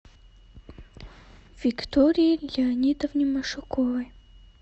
виктории леонидовне машуковой